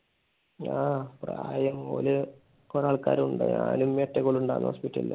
ആഹ് പ്രായം ഓര് കൊറേ ആൾക്കാർ ഉണ്ടായി. ഞാനും ഉമ്മിയും ഒറ്റക്കല്ലെ ഉണ്ടായുള്ളൂ hospital ൽ.